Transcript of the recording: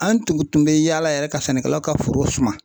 An tun tun bɛ yaala yɛrɛ ka sɛnɛkɛlaw ka foro suma.